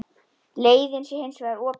Leiðin sé hins vegar opin.